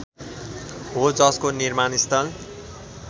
हो जसको निर्माणस्थल